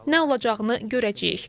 Nə olacağını görəcəyik.